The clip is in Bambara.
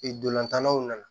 Ee ntolantanw nana